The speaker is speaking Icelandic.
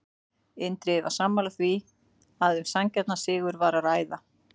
Indriði var sammála því að um sanngjarnan sigur var að ræða.